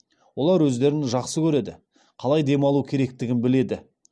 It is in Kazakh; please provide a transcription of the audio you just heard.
олар өздерін жақсы көреді қалай демалу керектігін бідеді